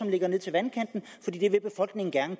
ligger ned til vandkanten fordi det vil befolkningen gerne